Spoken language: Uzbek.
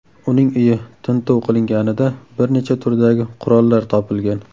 Uning uyi tintuv qilinganida bir necha turdagi qurollar topilgan.